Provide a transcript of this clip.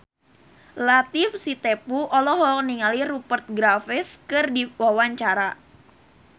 Latief Sitepu olohok ningali Rupert Graves keur diwawancara